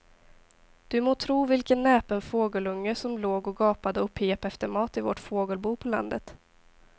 Du må tro vilken näpen fågelunge som låg och gapade och pep efter mat i vårt fågelbo på landet.